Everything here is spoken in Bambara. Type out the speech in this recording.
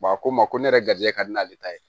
a ko n ma ko ne yɛrɛ garijɛgɛ ka di n'ale ta ye